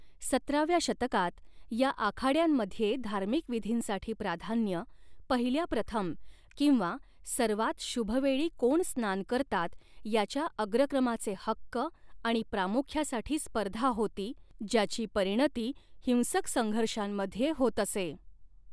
सतराव्या शतकात, या आखाड्यांमध्ये धार्मिक विधींसाठी प्राधान्य, पहिल्याप्रथम किंवा सर्वात शुभ वेळी कोण स्नान करतात याच्या अग्रक्रमाचे हक्क आणि प्रामुख्यासाठी स्पर्धा होती, ज्याची परिणती हिंसक संघर्षांमध्ये होत असे.